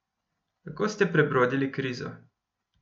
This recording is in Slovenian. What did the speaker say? Kako ste prebrodili krizo?